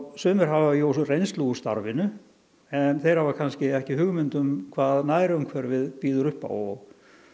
sumir hafa jú reynslu úr starfinu en þeir hafa kannski ekki hugmynd um hvað nærumhverfið býður upp á og